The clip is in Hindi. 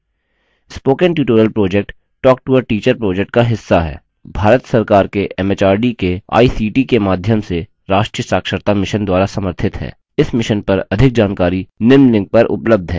spoken tutorial project talktoateacher project का हिस्सा है भारत सरकार के एमएचआरडी के आईसीटी के माध्यम से राष्ट्रीय साक्षरता mission द्वारा समर्थित है